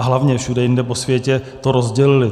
A hlavně všude jinde po světě to rozdělili.